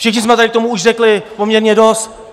Všichni jsme tady k tomu už řekli poměrně dost.